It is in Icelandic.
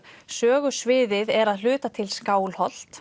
sögusviðið er að hluta til Skálholt